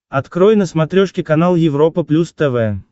открой на смотрешке канал европа плюс тв